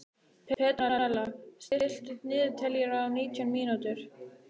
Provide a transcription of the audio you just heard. Petrónella, stilltu niðurteljara á nítján mínútur.